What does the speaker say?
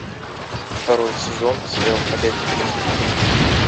второй сезон сериал ходячие мертвецы